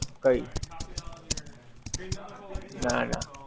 કઈ ના ના